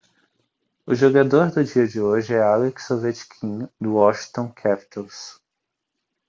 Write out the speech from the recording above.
o jogador do dia de hoje é alex ovechkin do washington capitals